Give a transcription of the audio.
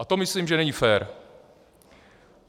A to myslím, že není fér.